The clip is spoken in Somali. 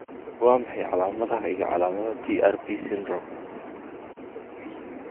Waa maxay calaamadaha iyo calaamadaha TARP syndrome?